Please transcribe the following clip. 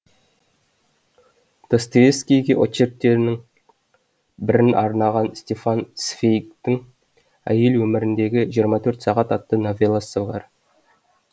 достоевскийге очерктерінің бірін арнаған стефан цвейгтің әйел өміріндегі жиырма төрт сағат атты новелласы бар